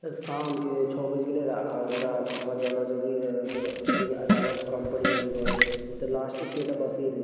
इ शाम के छो बज गले रा अब हमरा घर जाना ज़रूरी रहे मतलब अचानक काम पड़ गइल घर के ते लास्ट एके ते बसें रे।